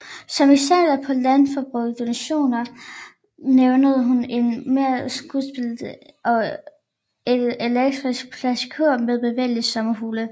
Som eksempler på landsforbundets donationer nævner hun en merskumspibe og et elektrisk plasticur med bevægelige sommerfugle